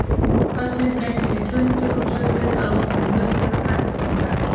Köllin breyttust í tuldur og tuldrið að lokum í muldur, hægt og minnkandi.